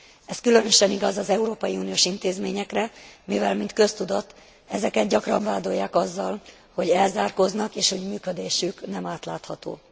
Ez különösen igaz az európai uniós intézményekre, mivel mint köztudott ezeket gyakran vádolják azzal, hogy elzárkóznak és hogy működésük nem átlátható.